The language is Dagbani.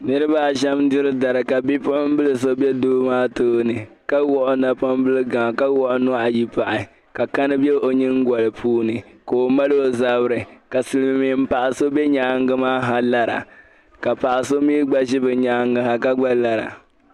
Niriba shɛm diri dari ka bipuɣibila bɛ doo maa tooni ka wɔɣi o napɔbilli gaŋ ka wɔɣi nuhi ayi gba pahi ka kani bɛ o nyingoli puuni ka o mali o zabiri silimiin paɣ'so bɛ nyaaŋa maa ha lara ka paɣ'so mi gba ʒi nyaaŋa ha ka gba lara